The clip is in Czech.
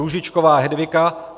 Růžičková Hedvika